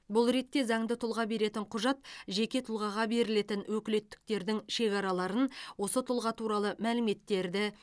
бұл ретте заңды тұлға беретін құжат жеке тұлғаға берілетін өкілеттіктердің шекараларын осы тұлға туралы мәліметтерді